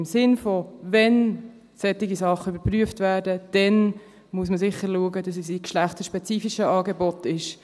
Im Sinn von: Wenn solche Dinge überprüft werden, dann muss man sicher schauen, dass es in geschlechtsspezifische Angeboten geschieht.